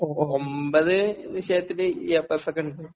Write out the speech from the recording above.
ഒൻപത് വിഷയത്തിന് A plus ഒക്കെ എടുത്തു.